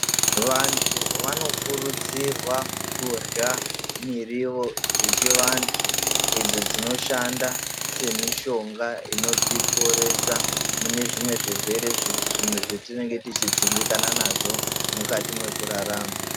Vantu vanokurudzirwa kurha mirivo dzechivantu idzo dzinoshanda semishonga inotiporesa munezvimwe zvirwere zvatinenge teidzimbikana nazvo mukati mwekurarama.